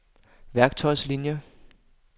værktøjslinier